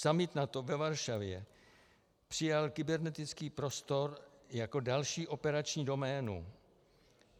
Summit NATO ve Varšavě přijal kybernetický prostor jako další operační doménu.